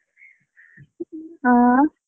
ಹಾ.